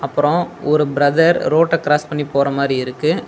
அப்பறோ ஒரு ப்ரதர் ரோட்ட க்ராஸ் பண்ணி போற மாறி இருக்கு.